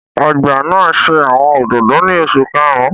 Ọgba naa ṣe awọn ododo ni oṣu karun